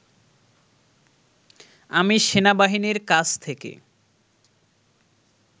আমি সেনাবাহিনীর কাছ থেকে